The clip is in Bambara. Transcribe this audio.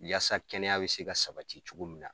Yaasa kɛnɛya be se ka sabati cogo min na